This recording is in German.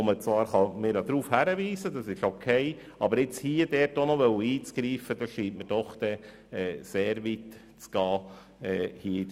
Es ist zwar in Ordnung, darauf hinzuweisen, aber diesbezüglich hier in der StG-Revision nun auch noch eingreifen zu wollen, scheint mir doch sehr weit zu gehen.